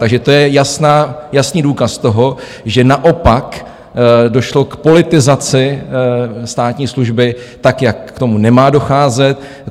Takže to je jasný důkaz toho, že naopak došlo k politizaci státní služby tak, jak k tomu nemá docházet.